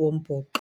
wombhoxo.